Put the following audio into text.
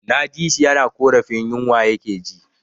Na ji shi yana ƙorafin yinwa ya ke ji